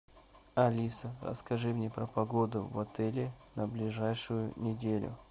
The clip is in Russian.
алиса расскажи мне про погоду в отеле на ближайшую неделю